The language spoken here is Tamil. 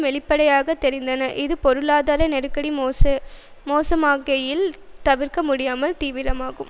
வெளிப்படையாக தெரிந்தன இது பொருளாதார நெருக்கடி மோசமாகையில் தவிர்க்க முடியாமல் தீவிரமாகும்